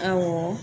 Awɔ